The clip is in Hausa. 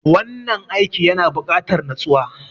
Wannan aiki yana bukatar natsuwa.